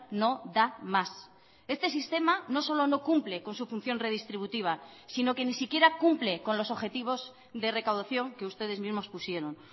no da más este sistema no solo no cumple con su función redistributiva sino que ni siquiera cumple con los objetivos de recaudación que ustedes mismos pusieron